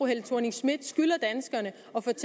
helle thorning schmidt skylder danskerne